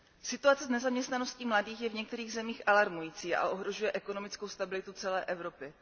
Situace s nezaměstnaností mladých je v některých zemích alarmující a ohrožuje ekonomickou stabilitu celé Evropy.